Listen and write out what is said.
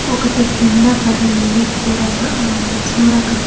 ఒకటి కింద పడింది కూరగా సొరకాయ్--